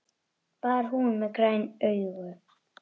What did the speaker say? Var hún með græn augu?